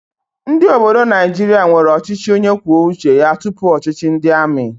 Ndị obodo Naijiria nwere ọchịchị onye kwuo uche ya tupu ọchịchị ndị amị